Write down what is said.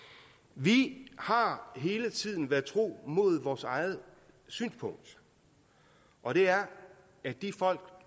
vi har hele tiden været tro mod vores eget synspunkt og det er at de folk